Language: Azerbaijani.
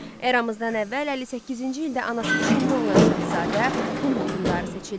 Eramızdan əvvəl 58-ci ildə anası Çinli olan şahzadə Hun hökmdarı seçildi.